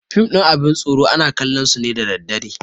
Fim ɗin abin tsoro ana kallon su ne da daddare